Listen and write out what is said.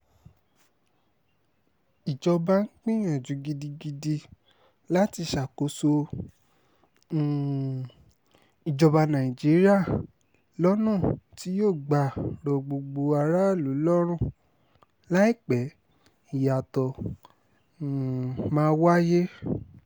ìjọba ń gbìyànjú gidi láti ṣàkóso um ìjọba nàìjíríà lọ́nà tí yóò gbà rọ gbogbo aráàlú lọ́rùn láìpẹ́ ìyàtọ̀ um máa wáyé